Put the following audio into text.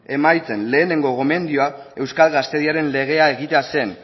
emaitzen lehengo gomendioak euskal gaztediaren lege egitea zen